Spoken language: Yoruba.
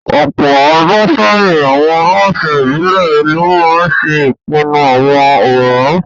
Ọ̀pọ̀ ọdún sẹ́yìn, àwọn aláṣẹ ìbílẹ̀ lo maa ńse ipinnu àwọn ọ̀ràn